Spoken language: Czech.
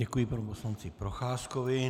Děkuji panu poslanci Procházkovi.